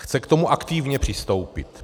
Chce k tomu aktivně přistoupit.